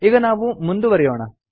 ಈಗ ನಾವು ಮುಂದುವರೆಯೋಣ